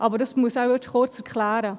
Aber das muss ich wohl nun kurz erklären: